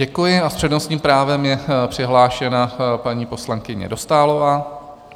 Děkuji a s přednostním právem je přihlášena paní poslankyně Dostálová.